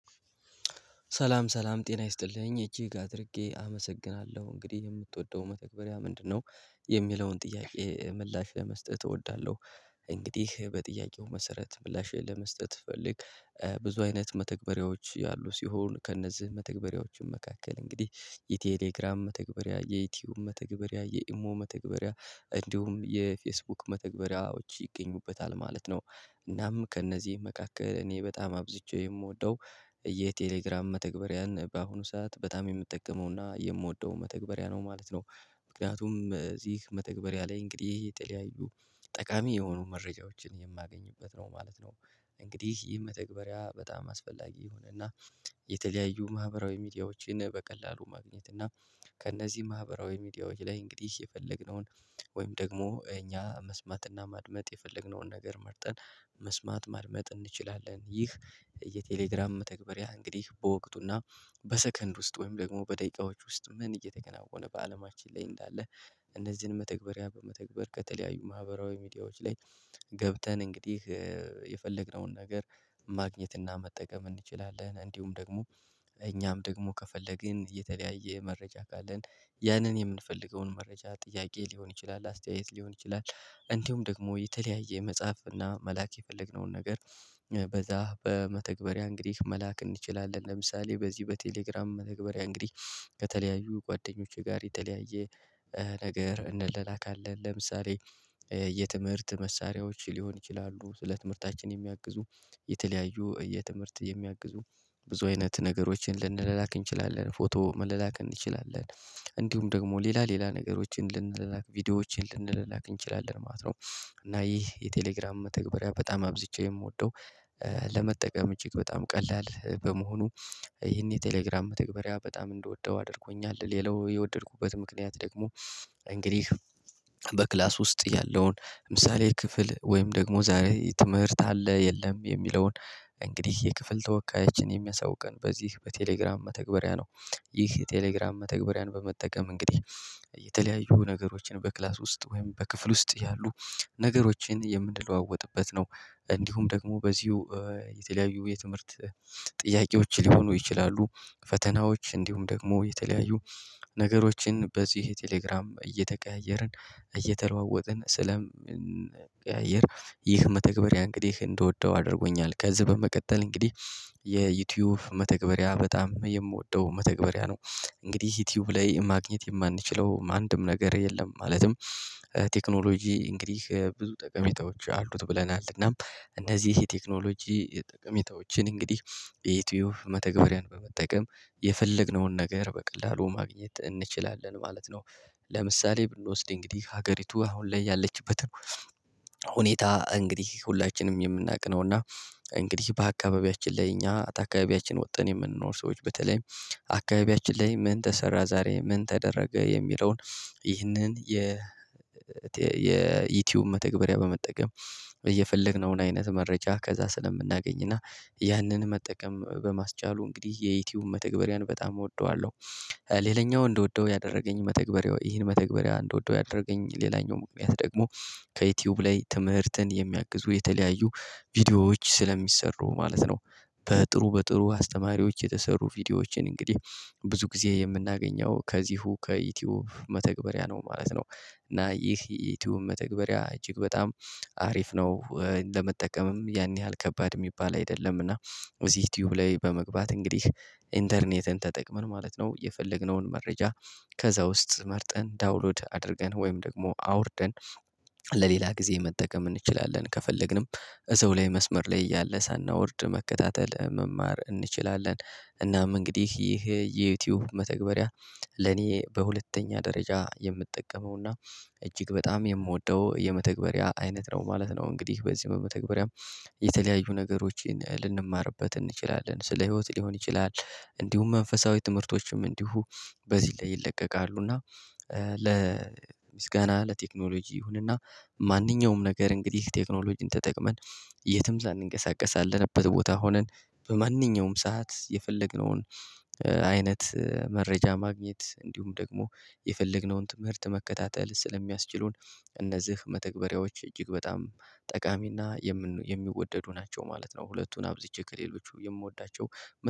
ሰላም ሰላም ጤና ይስጥልኝ እጅግ አድርጌ አመሰግናለሁ እንግዲህ የምትወደው መተግበሪያ ምንድነው? የሚለውን ጥያቄ ምላሽ ለመስጠት እወዳለሁ። እንግዲህ በጥያቄው መሰረት ምላሽን ለመስጠት ፈልግ። ብዙ አይነት መተግበሪያዎች ያሉ ሲሆን ከእነዚህ መተግበሪያዎችም መካከል እንግዲህ የቴሌግራም መተግበሪያ የዩቲዩብ መተግበሪያ የኢሞ መተግበሪያ እንዲሁም የፌስቡክ መተግበሪያዎች ይገኙበታል ማለት ነው። እናም ከእነዚህ መካከል እኔ በጣም አብዝቼ የምወደው የቴሌግራም መተግበሪያን በአሁኑ ሰዓት በጣም የምጠቀመው እና የምወደው መተግበሪያ ነው ማለት ነው። ምክንያቱም እዚህ መተግበሪያ ላይ እንግዲህ የተለያዩ ጠቃሚ የሆኑ መረጃዎችን የማገኝበት ነው ማለት ነው። እንግዲህ ይህ መተግበሪያ በጣም አስፈላጊ የሆነ እና የተለያዩ ማህበራዊ ሚዲያዎችን በቀላሉ ማግኘት እና ከእነዚህ ማህበራዊ ሚዲያዎች ላይ እንግዲህ የፈለግነውን ወይም ደግሞ እኛ መስማትና ማድመጥ የፈለግነውን ነገር መርጠን መስማት ማርመጥ እንችላለን። ይህ የቴሌግራም መተግበሪያ እንግዲህ በወቅቱና በሰከንድ ውስጥ ወይም ደግሞ በደቂቃዎች ውስጥ ምን እየተከናወነ በአለማችን ላይ እንዳለ። እነዚህን መተግበሪያ በመተግበር ከተለያዩ ማህበራዊ ሚዲያዎች ላይ ገብተን እንግዲህ የፈለግነውን ነገር ማግኘት እና መጠቀም እንችላለን። እንዲሁም ደግሞ እኛም ደግሞ ከፈለግን የተለያየ መረጃ ካለን ያንን የምንፈልገውን መረጃ ጥያቄ ሊሆን ይችላል አስተያየት ሊሆን ይችላል። እንዲሁም ደግሞ የተለያየ መጽሐፍ እና መላክ የፈለግነውን ነገር በዛ በመተግበሪያ እንግዲህ መላክ እንችላለን። ለምሳሌ በዚህ በቴሌግራም መተግበሪያ እንግዲህ ከተለያዩ ጓደኞቼ ጋር የተለያየ ነገር እንላላካለን። ለምሳሌ የትምህርት መሳሪያዎች ሊሆን ይችላሉ ስለ ትምህርታችን የሚያግዙ የተለያዩ የትምህርት የሚያግዙ ብዙ አይነት ነገሮችን ልንለላክ እንችላለን። ፎቶ መለላከን እንችላለን። እንዲሁም ደግሞ ሌላ ሌላ ነገሮችን ልንላላክ ቪዲዮዎችን ልንላላክ እንችላለን ማለት ነው። እና ይህ የቴሌግራም መተግበሪያ በጣም አብዝቼ የምወደው ለመጠቀም እጅግ በጣም ቀላል በመሆኑ ይሄን የቴሌግራም መተግበሪያ በጣም እንደወደው አድርጎኛል። ሌላው የወደድኩበት ምክንያት ደግሞ እንግዲህ በክላስ ውስጥ ያለውን ምሳሌ ክፍል ወይም ደግሞ ዛሬ ትምህርት አለ የለም የሚለውን እንግዲህ የክፍል ተወካዮችን የሚያሳውቀን በዚህ በቴሌግራም መተግበሪያ ነው። ይህ የቴሌግራም መተግበሪያን በመጠቀም እንግዲህ የተለያዩ ነገሮችን በክላስ ውስጥ ወይም በክፍል ውስጥ ያሉ ነገሮችን የምንለዋወጥበት ነው። እንዲሁም ደግሞ በዚሁ የተለያዩ የትምህርት ጥያቄዎች ሊሆኑ ይችላሉ ፈተናዎች እንዲሁም ደግሞ የተለያዩ ነገሮችን በዚህ ቴሌግራም እየተቀያየርን እየተለዋወጥን ስለምንቀያየር ይህ መተግበሪያ እንግዲህ እንደወደው አድርጎኛል። ከዚህ በመቀጠል እንግዲህ የ ዩቲዩብ መተግበሪያ በጣም የምወደው መተግበሪያ ነው። እንግዲህ ዩቲዩብ ላይ ማግኘት የማንችለው ማ አንድም ነገር የለም። ማለትም ቴክኖሎጂ እንግዲህ ብዙ ጠቀሜታዎች አሉት ብለናል እናም እነዚህ የቴክኖሎጂ ጠቀሜታዎችን እንግዲህ የይቱይብ መተግበሪያን በመጠቀም የፈለግነውን ነገር በቀላሉ ማግኘት እንችላለን ማለት ነው። ለምሳሌ ብንወስድ እንግዲህ ሀገሪቱ አሁን ላይ ያለችበትን ሁኔታ እንግዲህ ሁላችንም የምናውቅ ነው። እና እንግዲህ በአካባቢያችን ላይ እኛ ተ አካባቢያችን ወጥን የምንኖር ሰዎች በተለይ አካባቢያችን ላይ ምን ተሰራ ዛሬ ምን ተደረገ የሚለውን ይህንን የ የይቱብ መተግበሪያ በመጠቀም እየፈለግነውን አይነት መረጃ ከዛ ስለምናገኝ እና ያንን መጠቀም በማስቻሉ እንግዲህ የይቱብ መተግበሪያን በጣም እወደዋለሁ። ሌላኛው እንደወደው ያደረገኝ መተግበሪያ ይህን መተግበሪያ እንደወደው ያደረገኝ ሌላኛው ምክንያት ደግሞ ከዩቲዩብ ላይ ትምህርትን የሚያግዙ የተለያዩ ቪዲዮዎች ስለሚሰሩ ማለት ነው። በጥሩ በጥሩ አስተማሪዎች የተሰሩ ቪዲዮዎችን እንግዲህ ብዙ ጊዜ የምናገኘው ከዚህው ከዩቲዩብ መተግበሪያ ነው ማለት ነው። እና ይህ ዩቲዩብ መተግበሪያ እጅግ በጣም አሪፍ ነው። ለመጠቀምም ያን ያህል ከባድ እሚባል አይደለም። እና እዚህ ዩቲዩብ ላይ በመግባት እንግዲህ ኢንተርኔትን ተጠቅመን ማለት ነው የፈለግነውን መረጃ ከዛ ውስጥ መርጠን ዳውንሎድ አድርገን ወይም ደግሞ አውርደን ለሌላ ጊዜ መጠቀም እንችላለን። ከፈለግንም እዛው ላይ መስመር ላይ እያለ ሳናወርድ መከታተል መማር እንችላለን። እናም እንግዲህ ይህ የዩቲዩብ መተግበሪያ ለኔ በሁለተኛ ደረጃ የምጠቀመውና እጅግ በጣም የምወደው የመተግበሪያ አይነት ነው ማለት ነው። እንግዲህ በዚህ መተግበሪያም የተለያዩ ነገሮችን ልንማርበት እንችላለን። ስለ ህይወት ሊሆን ይችላል እንዲሁም መንፈሳዊ ትምህርቶችም እንዲሁ በዚህ ላይ ይለቀቃሉ። እና ለምስጋና ለቴክኖሎጂ ይሁንና ማንኛውም ነገር እንግዲህ ቴክኖሎጂን ተጠቅመን የትም ሳንንቀሳቀስ አለንበት ቦታ ሆነን በማንኛውም ሰዓት የፈለግነውን አይነት መረጃ ማግኘት እንዲሁም ደግሞ የፈለግነውን ትምህርት መከታተል ስለሚያስችሉን እነዝህ መተግበሪያዎች እጅግ በጣም ጠቃሚና የሚወደዱ ናቸው። ማለት ነው ሁለቱን አብዝቼ ከሌሎቹ የምወዳቸው